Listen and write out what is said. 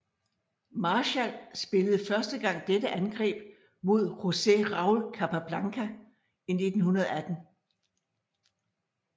Marshall spillede første gang dette angreb mod Jose Raul Capablanca i 1918